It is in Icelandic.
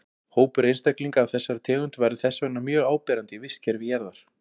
Hópur einstaklinga af þessari tegund væri þess vegna mjög áberandi í vistkerfi jarðar.